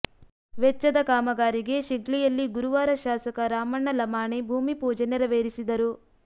ವೆಚ್ಚದ ಕಾಮಗಾರಿಗೆ ಶಿಗ್ಲಿಯಲ್ಲಿ ಗುರುವಾರ ಶಾಸಕ ರಾಮಣ್ಣ ಲಮಾಣಿ ಭೂಮಿಪೂಜೆ ನೆರವೇರಿಸಿದರು